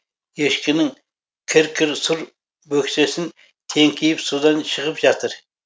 ешкінің кір кір сұр бөксесін теңкиіп судан шығып жатыр